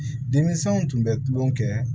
Denmisɛnw tun bɛ tulonkɛ kɛ